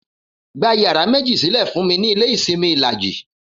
Gba yàrá méjì sílè̩ fún mi ní ilé ìsimi Ìlàjì!